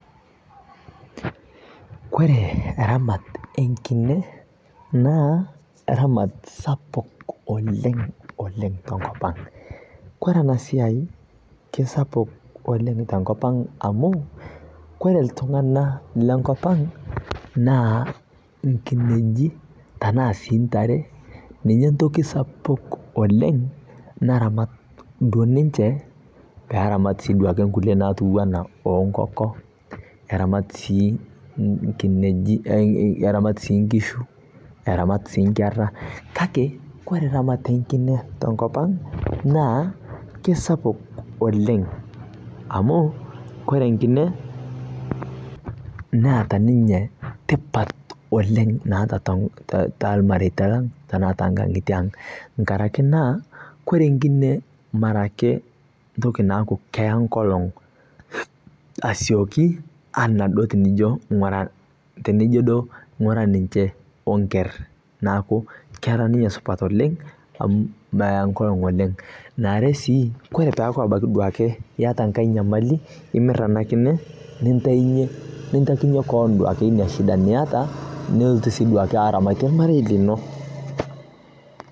Kore ramaat e nkinee na ramaat supaku oleng oleng to nkopaang'. Kore ena siai kesapuk oleng ta nkopaang amu kore ltung'ana le nkopaang' naa lkineeji tana sii ntaare ninyee ntokii sapuk oleng naramaat doo ninchee pee ramaat sii duake nkulee natiwa ana o nkokoo. Eramaat sii nkineeji, eramaat sii nkishuu, eramaat sii nkeera. Kaki kore ramaat e nkinee ta nkopaang' naa kesapuk oleng amu nkinee kore neeta ninyee tipaat oleng neeta ta lmarita langa tana ta nkaang'itie ng'araki naa kore nkinee marake ntokii naaku eiyaa nkolong' esiooki ana tinijoo doo ng'uraa tinijoo ndoo ng'uara ninchee o nkeer. Neeku kera ninyee supat oleng amu meea nkolong' oleng. Naare sii kore taa pee abakii duake eitaa nkaai nyamili imiir enia nkinee nitainye nitaiyee koon duake nia shindaa nieta nulootu sii duake aramatie lmariei liloo.